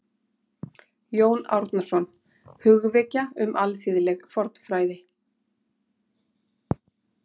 Jón Árnason: Hugvekja um alþýðleg fornfræði